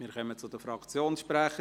Wir kommen zu den Fraktionsprechern;